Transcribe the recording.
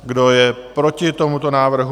Kdo je proti tomuto návrhu?